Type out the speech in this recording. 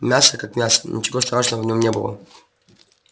мясо как мясо ничего страшного в нем не было